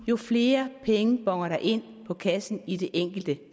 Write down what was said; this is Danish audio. jo flere penge bonner der ind på kassen i det enkelte